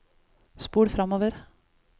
spol framover